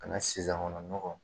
Ka na sisan kɔnɔ mɔgɔw.